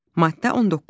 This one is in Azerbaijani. Maddə 19.